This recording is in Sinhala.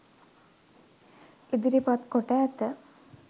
ඉදිරිපත් කොට ඇත.